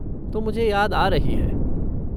तो मुझे याद आ रही है।